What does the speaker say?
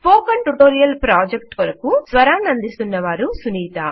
spoken tutorial project కొరకు స్వరాన్నందిస్తున్నవారు సునీత